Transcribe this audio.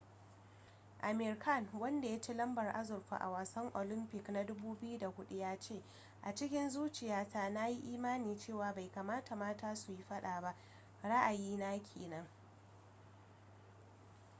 amir khan wanda ya ci lambar azurfa a wasan olympic 2004 ya ce a cikin zuciya ta na yi imanin cewa bai kamata mata su yi fada ba ra'ayi na kenan